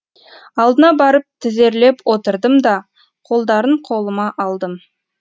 алдына барып тізерлеп отырдым да қолдарын қолыма алдым